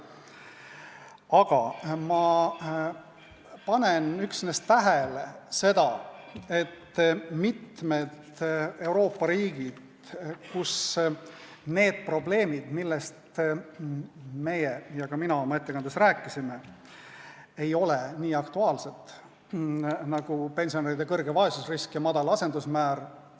Aga ma panen tähele seda, et on mitmed Euroopa riigid, kus need probleemid, millest meie – ja ka mina – oma ettekandes rääkisime, nagu pensionäride suur vaesusrisk ja madal asendusmäär, ei ole nii aktuaalsed.